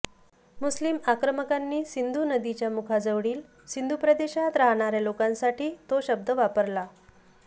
मुस्लीम आक्रमकांनी सिंधू नदीच्या मुखाजवळील सिंधू प्रदेशात राहणाऱ्या लोकांसाठी तो शब्द वापरला